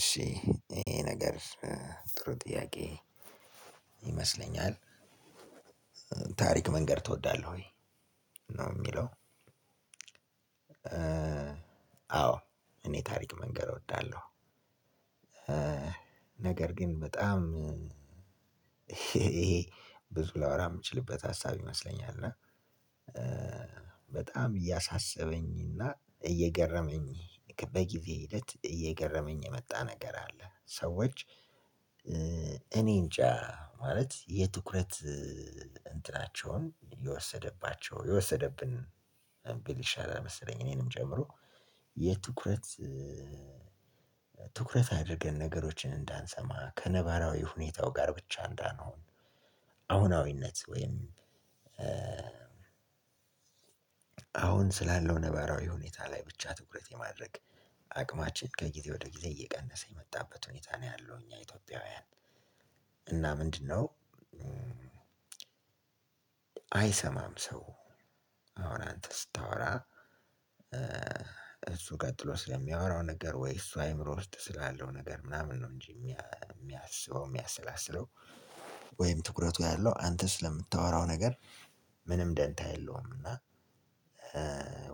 እሺ ይሄ ነገር ጥሩ ጥያቄ ይመስለኛል ታሪክ መንገረ ትወዳለህ ወይ ነው የሚለው? አዎ እኔ ታሪክ መንገር እወዳለሁ። ነገር ግን በጣም ብዙ ላወራ የምችልበት ሀሳብ ይመስለኛል እና በጣም እያሳሰበኝና እና እየገረመኝ በጊዜ ሂደት እየገረመኝ የመጣ ነገር አለ። ሰዎች እኔንጃ ማለት የትኩረት እንትናቸውን የወሰደባቸው የወሰደብን ብል ይሻላል መሰለኝ እኔንም ጨምሮ የትኩረት ትኩረት አድርገን ነገሮችን እንዳንሰማ ከነባራዊ ሁኔታው ጋር ብቻ እንዳንሆን። አሁናዊነት ወይም አሁን ስላለው ነባራዊ ሁኔታ ላይ ብቻ ትኩረት ለማድረግ አቅማችን ከጊዜ ወደ ጊዜ እየቀነሰ የመጣበት ሁኔታ ነው። ያለው እኛ ኢትዮጵያውያን እና ምንድነው? አይሰማም ሰው አሁን አንተ ስታወራ እሱ ቀጥሎ ስለሚያወራው ነገር ወይ እሱ አይምሮ ውስጥ ስላለው ነገር ምናምን ነው እንጂ የሚያስበው የሚያሰላስለው ወይም ትኩረቱ ያለው አንተ ስለምታወራው ነገር ምንም ደንታ የለውም። እና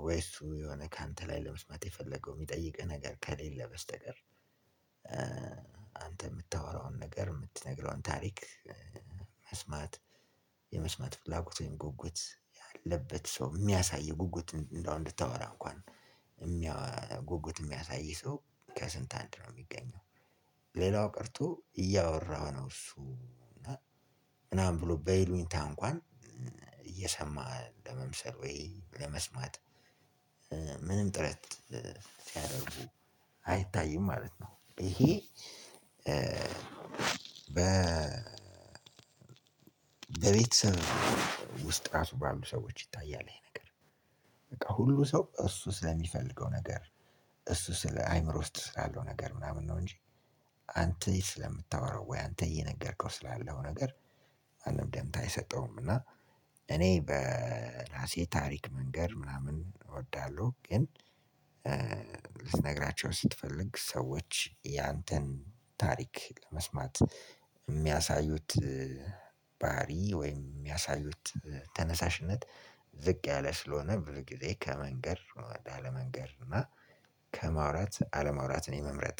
ወይ እሱ የሆነ ካንተ ላይ ለመስማት የፈለገው የሚጠይቅህ ነገር ከሌለ በስተቀር። አንተ የምታወራውን ነገር የምትነግረውን ታሪክ መስማት የመስማት ፍላጎት ወይም ጉጉት ያለበት ሰው የሚያሳይ ጉጉት እንደው እንድታወራ እንኳን ጉጉት የሚያሳይ ሰው ከስንት አንድ ነው የሚገኘው። ሌላው ቀርቶ እያወራ ነው እሱ እና ምናምን ብሎ በይሉንታ እንኳን እየሰማ ለመምሰል ወይ ለመስማት ምንም ጥረት ሲያደርጉ አይታይም ማለት ነው። ይሄ በ በቤተሰብ ውስጥ ራሱ ባሉ ሰዎች ይታያል። ይሄ ነገር በቃ ሁሉ ሰው እሱ ስለሚፈልገው ነገር እሱ ስለ አይምሮ ውስጥ ስላለው ነገር ምናምን ነው እንጂ አንተ ስለምታወራው ወይ አንተ እየነገርከው ስላለው ነገር ማንም ደምታ አይሰጠውም። እና እኔ በራሴ ታሪክ መንገር ምናምን እወዳለሁ። ግን ልትነግራቸው ስትፈልግ ሰዎች ያንተን ታሪክ ለመስማት የሚያሳዩት ባህሪ ወይም የሚያሳዩት ተነሳሽነት ዝቅ ያለ ስለሆነ ብዙ ጊዜ ከመንገር አለመንገር እና ከማውራት አለማውራትን የመምረጥ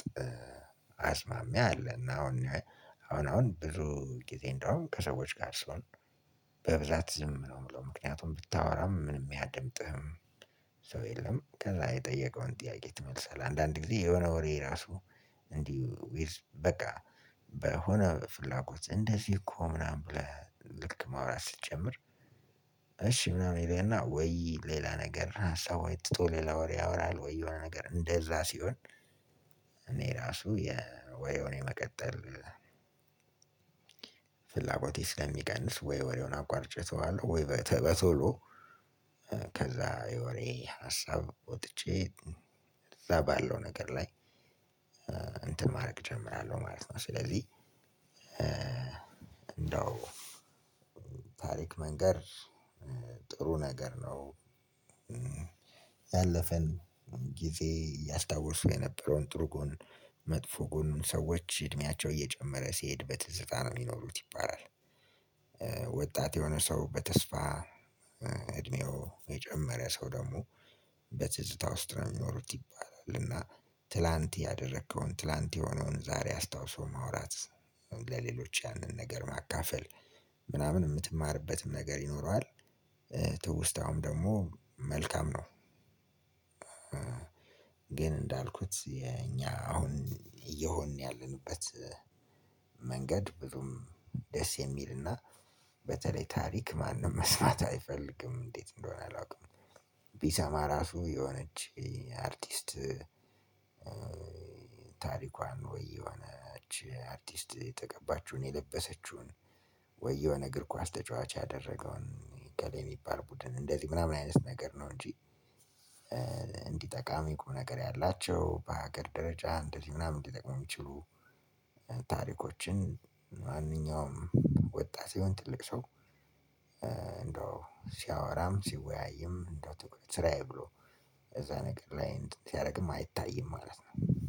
አዝማሚያ አለና። አሁን አሁን አሁን ብዙ ጊዜ እንደውም ከሰዎች ጋር ስሆን በብዛት ዝም ነው የምለው ምክንያቱም ብታወራም ማንም አያደምጥህም። ሰው የለም ከዛ የጠየቀውን ጥያቄ መልስ አለ አንዳንድ ጊዜ የሆነ ወሬ ራሱ እንዲሁ በቃ በሆነ ፍላጎት እንደዚህ እኮ ምናምን ብለህ ልክ ማውራት ስትጀምር እሺ ምናምን ይላል እና ወይ ሌላ ነገር ሀሳብ ወይ ትቶ ሌላ ወሬ ያወራል ወይ የሆነ ነገር እንደዛ ሲሆን። እኔ ራሱ የወይ የሆነ መቀጠል ፍላጎቴ ስለሚቀንስ ወይ ወሬውን አቋርጭተዋለሁ ወይ በቶሎ ከዛ የወሬ ሀሳብ ወጥቼ እዛ ባለው ነገር ላይ እንትን ማደሰረግ እጀምራለሁ ማለት ነው። ስለዚህ እንደው ታሪክ መንገር ጥሩ ነገር ነው። ያለፈን ጊዜ ያስታውሱ የነበረውን ጥሩ ጎን መጥፎ ጎኑን ሰዎች እድሜያቸው እየጨመረ ሲሄድ ትዝታ ነው የሚኖሩት ይባላል። ወጣት የሆነ ሰው በተስፋ እድሜው የጨመረ ሰው ደግሞ በትዝታ ውስጥ ነው የሚኖሩት ይባላል። እና ትላንት ያደረከውን ትላንት የሆነውን ዛሬ አስታውሶ ማውራት ለሌሎች ያንን ነገር ማካፈል ምናምን የምትማርበትም ነገር ይኖረዋል። ትውስታውም ደግሞ መልካም ነው። ግን እንዳልኩት የኛ አሁን እየሆንን ያለንበት መንገድ ብዙም ደስ የሚልና በተለይ ታሪክ ማንም መስማት አይፈልግም እንዴት እንደሆነ አላውቅም። ቢሰማ ራሱ የሆነች አርቲስት ታሪኳን ወይ የሆነች አርቲስት የተቀባችውን የለበሰችውን ወይ የሆነ እግር ኳስ ተጫዋች ያደረገውን ገሌ የሚባል ቡድን እንደዚህ ምናምን አይነት ነገር ነው እንጂ። እንዲጠቃሚ ቁም ነገር ያላቸው በሀገር ደረጃ እንደዚህ ምናምን ሊጠቅም የሚችሉ ታሪኮችን ማንኛውም ወጣት ቢሆን ትልቅ ሰው እንደው ሲያወራም ሲወያይም እንደው ትግል ስራዬ ብሎ እዛ ነገር ላይ ሲያደርግም አይታይም። ማለት ነው።